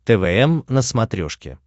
твм на смотрешке